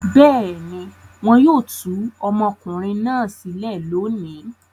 Bẹ́ẹ̀ ni, wọn yóò tú ọmọkùnrin náà sílẹ̀ lónìí.